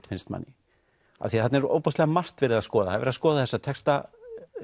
finnst manni af því þarna er ofboðslega margt verið að skoða það er verið að skoða þessa texta